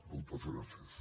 moltes gràcies